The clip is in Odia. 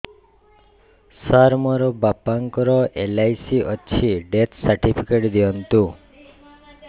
ସାର ମୋର ବାପା ଙ୍କର ଏଲ.ଆଇ.ସି ଅଛି ଡେଥ ସର୍ଟିଫିକେଟ ଦିଅନ୍ତୁ